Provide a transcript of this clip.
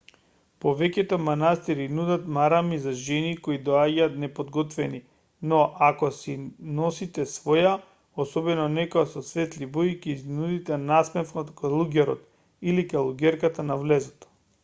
повеќето манастири нудат марами за жени кои доаѓаат неподготвени но ако си носите своја особено некоја во светли бои ќе изнудите насмевка од калуѓерот или калуѓерката на влезот